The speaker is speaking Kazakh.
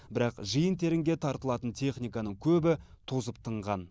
бірақ жиын терінге тартылатын техниканың көбі тозып тынған